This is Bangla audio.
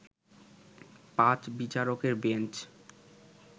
পাঁচ বিচারকের বেঞ্চ